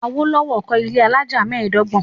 Awolowo kọ́ ilé alájà mẹ́ẹ̀dọ́gbọ̀n.